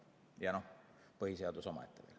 Ja no põhiseadus on omaette.